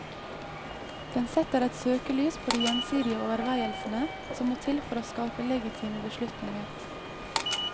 Den setter søkelys på de gjensdige overveielsene som må til for å skape legitime beslutninger.